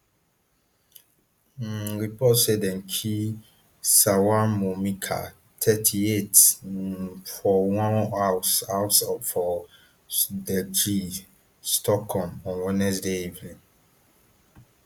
um reports say dem kill salwan momika thirty-eight um for one house house for sdertlje stockholm on wednesday evening